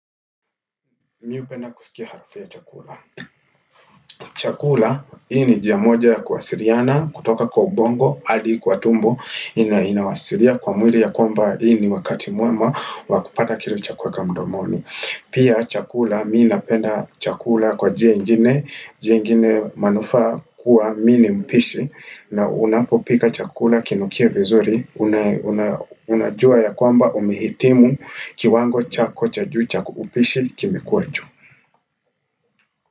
Mi hupenda kusikia harafu ya chakula. Chakula, hii ni njia moja ya kuwasiriana, kutoka kwa ubongo, hadi kwa tumbo, inawasiria kwa mwili ya kwamba hii ni wakati muema, wa kupata kitu cha kuweka mudomoni. Pia chakula, mi napenda chakula kwa jia ingine manufaa kuwa mi ni mpishi, na unapopika chakula kinukie vizuri, unajua ya kwamba umehitimu kiwango chako cha juu cha upishi kimekuwa juu.